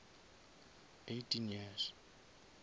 eighteen years